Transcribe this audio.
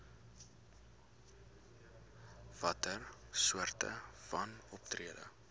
watter soorte wanoptrede